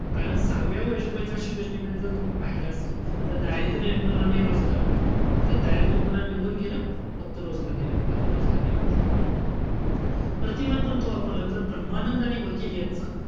कारण सहाव्या पंच वार्षिक योजनेमध्ये जर तुम्ही पाहिलं असेल तर, दारिद्र्य निर्मूलन आणि रोजगार होतं. तर दारिद्र्य निर्मूलन निघून गेलं. फक्त रोजगार राहील, उत्पाद रोजगार निर्मिती. प्रतिमान कोणतं वापरलं? तर ब्रम्हानंद आणि वकील यांचं.